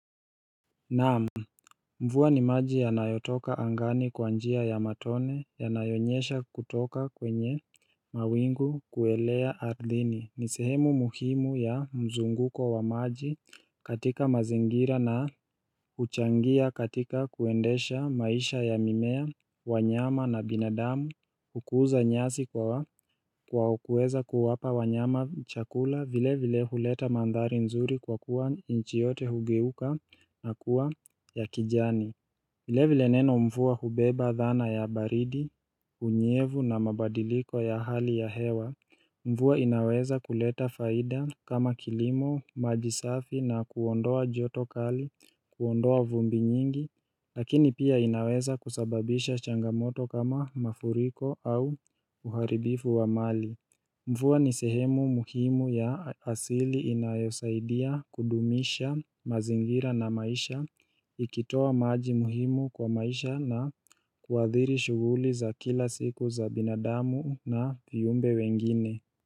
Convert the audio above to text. Naam, mvua ni maji ya nayotoka angani kwa njia ya matone ya nayonyesha kutoka kwenye mawingu kuelea ardhini ni sehemu muhimu ya mzunguko wa maji katika mazingira na uchangia katika kuendesha maisha ya mimea, wanyama na binadamu Hukuza nyasi kwa kuweza kuwapa wanyama chakula vile vile huleta mandhari nzuri kwa kuwa inchi yote hugeuka na kuwa ya kijani. Vile vile neno mvua hubeba dhana ya baridi, unyevu na mabadiliko ya hali ya hewa. Mvua inaweza kuleta faida kama kilimo, majisafi na kuondoa joto kali, kuondoa vumbi nyingi, lakini pia inaweza kusababisha changamoto kama mafuriko au uharibifu wa mali. Mvua nisehemu muhimu ya asili inayosaidia kudumisha mazingira na maisha ikitoa maaji muhimu kwa maisha na kuadhiri shuguli za kila siku za binadamu na viumbe wengine.